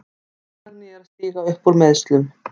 Dagný er að stíga upp úr meiðslum.